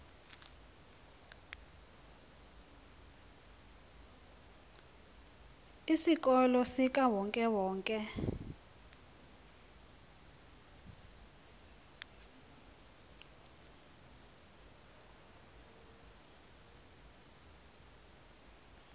isikolo sikawonke wonke